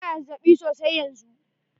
Ina da zazzaɓi sosai yanzu.